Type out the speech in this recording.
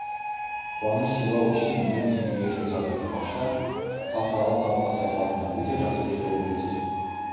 қуаныш сыйлау үшін миллион теңге жұмсады бақша халықаралық талапқа сай салынған өте жақсы деді облыс